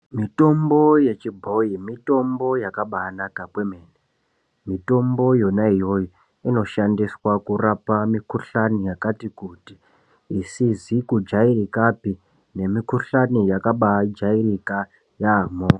Mitombo ye chibhoyi mitombo yakabai naka kwemene mitombo yona iyoyo ino shandiswa kurapa mi kuhlani yakati kuti isizi kujairikapi ne mi kuhlani yakabai jairika yamho.